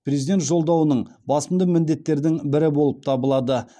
президент жолдауының басымды міндеттердің бірі болып табылады